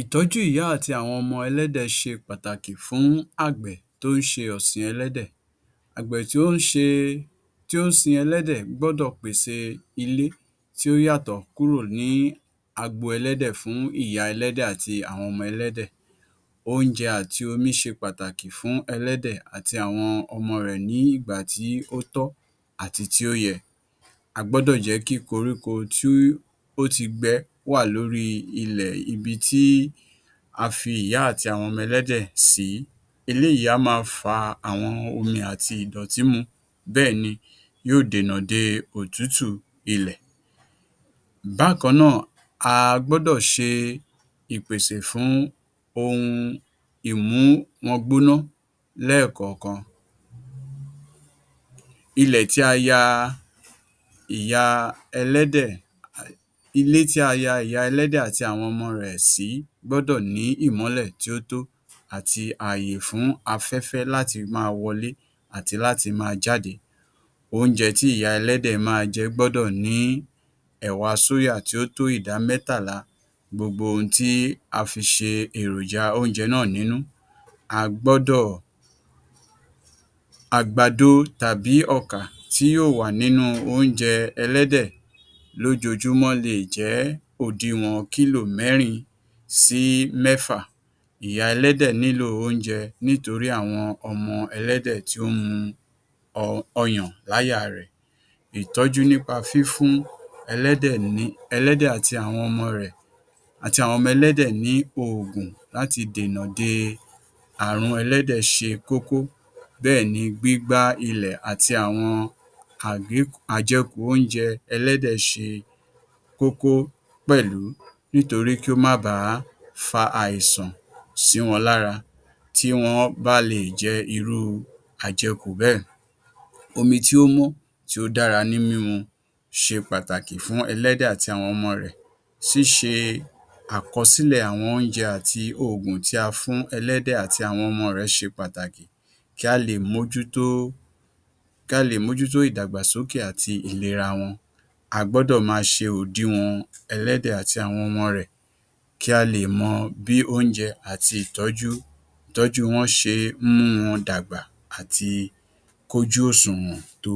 ìtọ́jú ìyá àti àwọn ọmọ ẹlẹ́dẹ̀ ṣe pàtàkì fún àgbẹ̀ tí ó ń ṣe ọ̀sin ẹlẹ́dẹ̀. Àgbẹ̀ tí ó ń sin ẹlẹ́dẹ̀ gbọdọ̀ pèse ilé tí ó yàtọ̀ kúrò ní agbo ẹlẹ́dẹ̀ fún ìya ẹlẹ́dẹ̀ àti àwọn ọmọ ẹlẹ́dẹ̀. Oúnjẹ àti omi ṣe pàtàkì fún ẹlẹ́dẹ̀ àti àwọn ọmọ rẹ̀ ní ìgbà tí ó tọ́ àti tí ó yẹ. A gbọ́dọ̀ jẹ́ kí koríko tí ó ti gbẹ wà lóri ilẹ̀ ibi tí a fi ìyá àti àwọn ọmọ ẹlẹ́dẹ̀ sí, eléyìí á máa fa omi àti ìdọ̀tí mu, bẹ́ẹ̀ni, yóò dènà de òtútù ilẹ̀. Bákan náà, a gbọ́dọ̀ ṣe ìpèsè fún ohun ìmú wọn gbóná lẹ́ẹ̀kọ̀kan. Ilẹ̀ tí a ya ìya ẹlẹ́dẹ̀, ilé tí a ya ìya ẹlẹ́dẹ̀ àti àwọn ọmọ rẹ̀ sí gbọ́dọ̀ ní ìmọ́lẹ̀ tí ó tọ́ àti àyè fún afẹ́fẹ́ láti máa wọlé àti láti máa jáde. Oúnje tí ìya ẹlẹ́dẹ̀ máa jẹ gbọ́dọ̀ ní ẹ̀wà tí ó tó ìdá mẹ́tàlá gbogbo ohun tí a fi ṣe èròjá oúnjẹ náà nínu, a gbọ́dọ̀ àgbàdo tàbí ọkà tí yóò wà nínu oúnjẹ ẹlẹ́dẹ̀ lójojúmọ́ lè jẹ́ òdiwọ̀n kílò mẹ́rin sí mẹ́fà, ìya ẹlẹ́dẹ̀ nílo oúnjẹ̀ nítorí àwọn ọmọ ẹlẹ́dẹ̀ tó ń mu ọyàn láya rẹ̀. Ìtọ́jú nípa fífún ẹlẹ́dẹ̀ àti àwọn ọmọ rẹ̀, àti àwọn ọmọ ẹlẹ́dẹ̀ ní ògùn láti dènà de àrùn ẹlẹ́dẹ̀ ṣe kókó, bẹ́ẹ̀ni gbígbá ilé àti àwọn àjẹkù oúnjẹ ẹlẹ́dẹ̀ ṣe kókó pẹ̀lú nítorí kí ó má ba fa àìsàn sí wọn lára tí wọ́n bá lè jẹ irú àjẹkù bẹ́ẹ̀. Omi tí ó mọ́ tí ó dára ní mímu ṣe pàtàkì fún ẹlẹ́dẹ̀ àti àwọn ọmọ rẹ̀ ṣíṣe àkọsílẹ̀ àwọn oúnjẹ àti ògùn tí a fún ẹlẹ́dẹ̀ àti àwọn ọmọ rẹ̀ ṣe pàtàkì kí a lè mójútó kí a lè mójútó ìdàgbàsókè àti ìlera wọn. A gbọ́dọ̀ máa ṣe òdiwọ̀n ẹlẹ́dẹ̀ àti àwọn ọmọ rẹ̀ kí a lè mọ bí oúnjẹ àti bí ìtọ́jú wọ́n ṣe mú wọn dàgbà àti kójú òṣùwọ̀n tó.